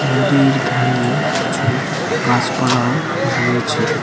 নদীর ধারে কিছু গাছপালাও রয়েছে।